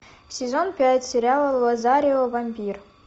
сезон пять сериала лазарио вампир